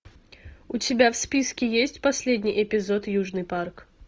у тебя в списке есть последний эпизод южный парк